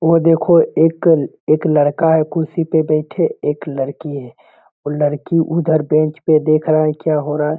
वह देखो एक लड़का है कुर्सी पर बैठे एक लड़की है वह लड़की उधर बेंच पे देख रहा है क्या हो रहा है।